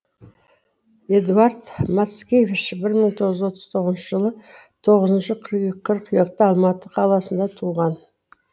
эдуард мацкевич бір мың тоғыз жүз отыз тоғыншы жылы тоғызыншы қыркүйекте алматы қаласында туған